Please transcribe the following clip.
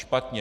Špatně.